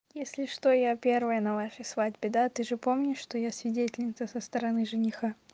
если что я первая на вашей свадьбе да ты же помнишь что я свидетельница со стороны жениха